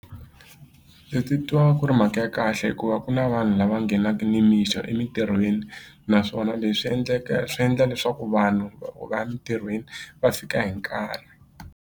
Ndzi titwa ku ri mhaka ya kahle hikuva ku na vanhu lava nghenaka nimixo emitirhweni naswona leswi endleka swi endla leswaku vanhu va loko va ya emintirhweni va fika hi nkarhi.